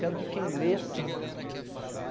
Quero que quem leia sinta.